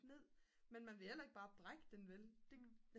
ned men man vil heller ikke bare brække den vel